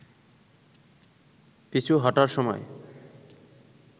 পিছু হটার সময়